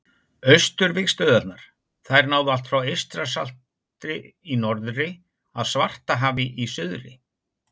Austurvígstöðvarnar: Þær náðu allt frá Eystrasalti í norðri að Svartahafi í suðri.